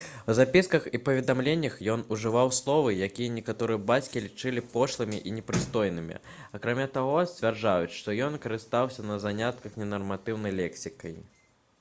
у запісках і паведамленнях ён ужываў словы якія некаторыя бацькі лічылі пошлымі і непрыстойнымі акрамя таго сцвярджаюць што ён карыстаўся на занятках ненарматыўнай лексікай